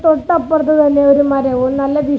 തൊട്ടപ്പുറത്ത് തന്നെ ഒരു മരവും നല്ല വീ--